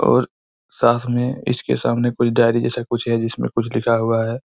और साथ में इस के सामने कुछ डायरी जैसा कुछ है जिसमे कुछ लिखा हुआ है।